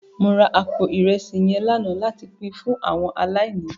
Mó rá àpó irèsí yèn làná làtí pin fún áwòn àláìní